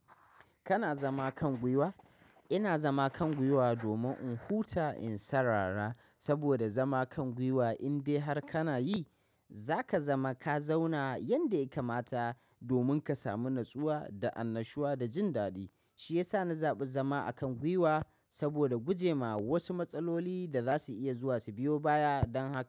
Kana zama kan gwiwa? Ina zama kan gwiwa domin in huta in sarara. Saboda zama kan gwiwa indai har kana yi, zaka zama ka zauna yadda ya kamata domin ka samu natsuwa da annashuwa da jin daɗi. Shiyasa na zaɓi zama a kan gwiwa saboda gujema wasu matsaloli da za su iya zuwa su biyo baya dan haka.